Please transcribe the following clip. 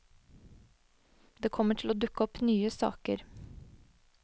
Det kommer til å dukke opp nye saker.